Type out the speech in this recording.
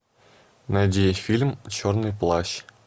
найди фильм черный плащ